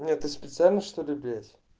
ты специально что ли блять